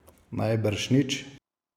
Najbrž nič.